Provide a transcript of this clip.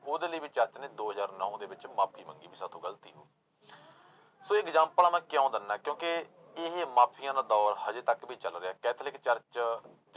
ਉਹਦੇ ਲਈ ਵੀ church ਨੇ ਦੋ ਹਜ਼ਾਰ ਨੋਂ ਦੇ ਵਿੱਚ ਮਾਫ਼ੀ ਮੰਗੀ ਵੀ ਸਾਥੋਂ ਗ਼ਲਤੀ ਹੋ ਸੌ ਇਹ ਐਗਜਾਮਪਲਾਂ ਮੈਂ ਕਿਉਂ ਦਿਨਾਂ ਕਿਉਂਕਿ ਇਹ ਮਾਫ਼ੀਆਂ ਦਾ ਦੌਰ ਹਜੇ ਤੱਕ ਵੀ ਚੱਲ ਰਿਹਾ ਕੈਥੋਲਿਕ church